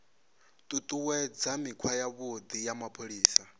ṱuṱuwedza mikhwa yavhuḓi ya mapholisa